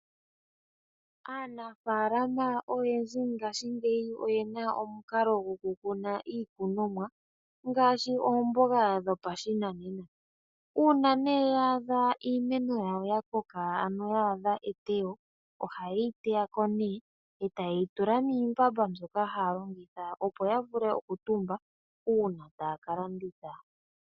Aanafala oyendji ngaashingeyi oyena omukalo goku kuna iikunomwa ngaashi oomboga dhopashinanena. Uuna ya adha iimeno yawo ya koka ya adha etewo ohaye yi teya ko etaye yi tula miimbamba moka haya longitha opo ya vule oku tumba uuna taya ka landitha.